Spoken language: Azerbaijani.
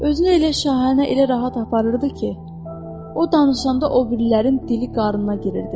Özünü elə şahanə, elə rahat aparırdı ki, o danışanda o birilərin dili qarnına girirdi.